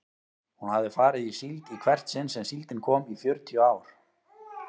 Hún hafði farið í síld í hvert sinn sem síldin kom í fjörutíu ár.